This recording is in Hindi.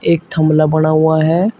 एक थमला बना हुआ है।